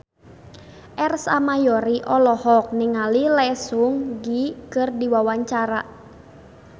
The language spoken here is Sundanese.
Ersa Mayori olohok ningali Lee Seung Gi keur diwawancara